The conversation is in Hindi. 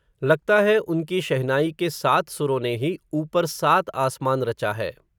लगता है, उनकी शहनाई के सात, सुरों ने ही, ऊपर सात आसमान रचा है